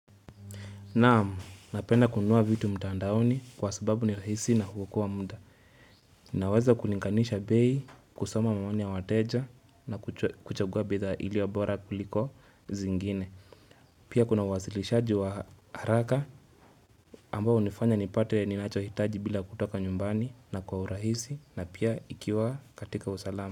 Naam, napenda kununua vitu mtandaoni kwa sababu ni rahisi na huokoa muda. Naweza kulinganisha bei kusoma maoni ya wateja na kuchagua bidhaa iliyo bora kuliko zingine. Pia kuna uwasilishaji wa haraka ambao hunifanya ni pate ni nacho hitaji bila kutoka nyumbani na kwa urahisi na pia ikiwa katika usalama.